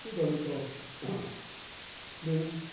Tudo ali próximo